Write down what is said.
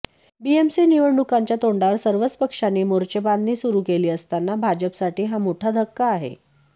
BMC निवडणुकांच्या तोंडावर सर्वच पक्षांनी मोर्चेबांधणी सुरु केली असताना भाजपसाठी हा मोठा धक्का आहे